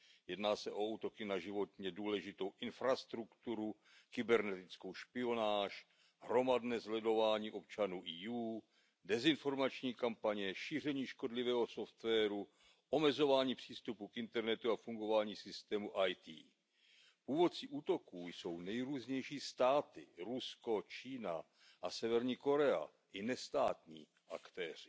Jedná se o útoky na životně důležitou infrastrukturu, kybernetickou špionáž, hromadné sledování občanů EU, dezinformační kampaně, šíření škodlivého softwaru, omezování přístupu k internetu a fungování systému IT. Původci útoků jsou nejrůznější státy Rusko, Čína a Severní Korea a i nestátní aktéři.